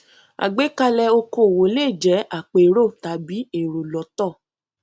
àgbékalẹ okòòwò le jẹ àpérò tàbí èrò lọtọ